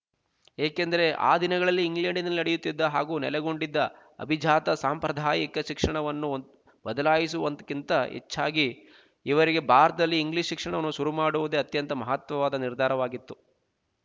ಏಕೆಂದರೆ ಆ ದಿನಗಳಲ್ಲಿ ಇಂಗ್ಲಂಡಿನಲ್ಲಿ ನಡೆಯುತ್ತಿದ್ದ ಹಾಗೂ ನೆಲೆಗೊಂಡಿದ್ದ ಅಭಿಜಾತಸಾಂಪ್ರದಾಯಿಕ ಶಿಕ್ಷಣವನ್ನು ಬದಲಾಯಿಸುವುದಕ್ಕಿಂತ ಹೆಚ್ಚಾಗಿ ಇವರಿಗೆ ಭಾರತದಲ್ಲಿ ಇಂಗ್ಲೀಷ್ ಶಿಕ್ಷಣವನ್ನು ಶುರು ಮಾಡುವುದೇ ಅತ್ಯಂತ ಮಹತ್ವದ ನಿರ್ಧಾರವಾಗಿತ್ತು